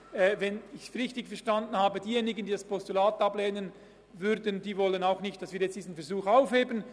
Wenn ich es richtig verstanden habe, wollen diejenigen, die das Postulat ablehnen, nicht, dass wir diesen Versuch aufheben.